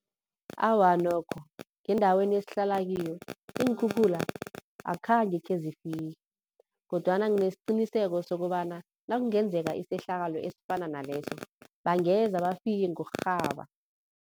Awa nokho, ngendaweni esihlala kiyo iinkhukhula akhange khezifike kodwana nginesiqiniseko sokobana nakungenzeka isehlakalo esifana naleso bangeza bafike ngokurhaba.